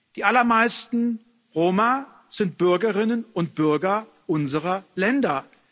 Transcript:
Die allermeisten Roma sind Bürgerinnen und Bürger unserer Länder.